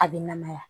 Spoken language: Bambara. A bɛ namaya